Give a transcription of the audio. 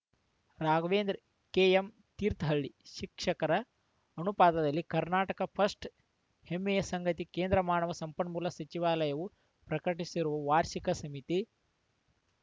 Raghavendra KM Thirthahalli ಶಿಕ್ಷಕರ ಅನುಪಾತದಲ್ಲಿ Karnataka first ಹೆಮ್ಮೆಯ ಸಂಗತಿ ಕೇಂದ್ರ ಮಾನವ ಸಂಪನ್ಮೂಲ ಸಚಿವಾಲಯವು ಪ್ರಕಟಿಸಿರುವ ವಾರ್ಷಿಕ ಸಮೀತಿ